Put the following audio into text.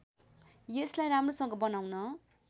यसलाई राम्रोसँग बनाउन